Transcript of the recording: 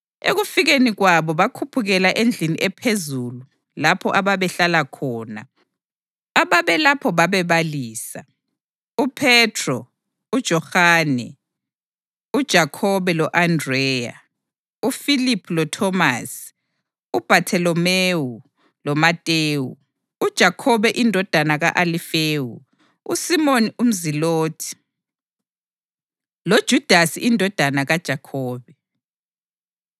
Ekufikeni kwabo bakhuphukela endlini ephezulu lapho ababehlala khona. Ababelapho babebalisa: uPhethro, uJohane, uJakhobe lo-Andreya; uFiliphu loThomasi; uBhatholomewu loMatewu; uJakhobe indodana ka-Alifewu, uSimoni umZilothi, loJudasi indodana kaJakhobe.